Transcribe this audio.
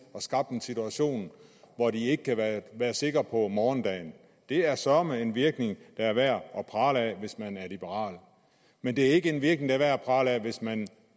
og skabt en situation hvor de ikke kan være sikre på morgendagen det er søreme en virkning der er værd at prale af hvis man er liberal men det er ikke en virkning der er værd at prale af hvis man